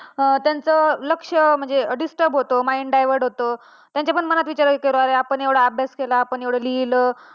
आणि त्यांचं लक्ष म्हणजे disturb होत, mind divert होत. त्यांच्या पण मनात विचार येतात की आपण एव्हडं अभ्यास केला आपण एवढं लिहलं